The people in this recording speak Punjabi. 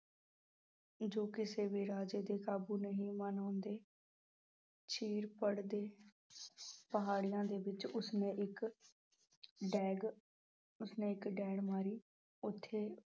ਜੋ ਕਿਸੇ ਵੀ ਰਾਜੇ ਦੇ ਕਾਬੂੂ ਨਹੀਂ ਮਨਾਉਂਦੇ ਚੀਰ ਪੜਦੇ ਪਹਾੜੀਆਂ ਦੇ ਵਿੱਚ ਉਸਨੇ ਇੱਕ ਡੈਗ, ਉਸਨੇ ਇੱਕ ਡੈਣ ਮਾਰੀ, ਉੱਥੇ